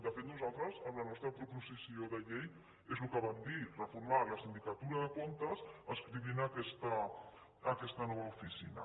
de fet nosaltres amb la nostra proposició de llei és el que vam dir reformar la sindicatura de comptes adscrivint aquesta nova oficina